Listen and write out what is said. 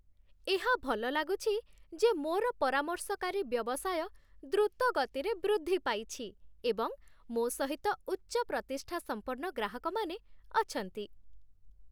ଏହା ଭଲ ଲାଗୁଛି ଯେ ମୋର ପରାମର୍ଶକାରୀ ବ୍ୟବସାୟ ଦ୍ରୁତ ଗତିରେ ବୃଦ୍ଧି ପାଇଛି, ଏବଂ ମୋ ସହିତ ଉଚ୍ଚ ପ୍ରତିଷ୍ଠା ସମ୍ପନ୍ନ ଗ୍ରାହକମାନେ ଅଛନ୍ତି।